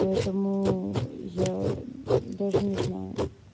поэтому я даже не знаю